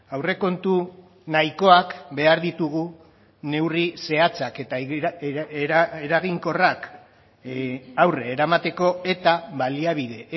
aurrekontu nahikoak behar ditugu neurri zehatzak eta eraginkorrak aurre eramateko eta baliabide